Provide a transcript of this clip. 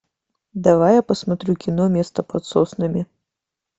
давай я посмотрю кино место под соснами